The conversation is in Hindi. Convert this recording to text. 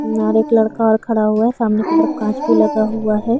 और एक लड़का और खड़ा हुआ है सामने की तरफ काँच भी लगा हुआ हैं ।